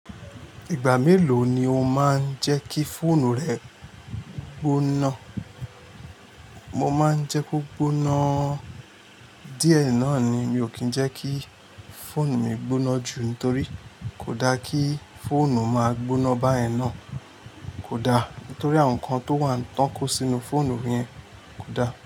Ìgbà mélòó ni o máa ń jẹ́ kí fóònù rẹ gbóná? Mo máa ń jẹ́ kó gbóná díẹ̀ náà ni. Mi ò kí ń jẹ́ kí fóònù mi gbóná jù nítorí kò da kí fóònù máa gbóná bá yẹn náà. Kò da nítorí àwọn nǹkan tó wà ń tàn kó sínú fóònù yẹn kò da.